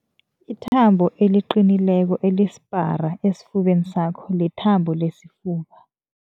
Ithambo eliqinileko elisipara esifubeni sakho lithambo lesifuba.